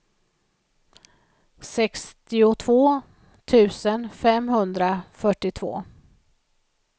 sextiotvå tusen femhundrafyrtiotvå